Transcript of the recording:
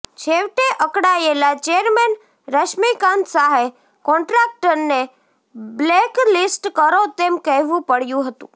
છેવટે અકળાયેલાં ચેરમેન રશ્મિકાંત શાહે કોન્ટ્રાક્ટરને બ્લેકલિસ્ટ કરો તેમ કહેવું પડ્યું હતું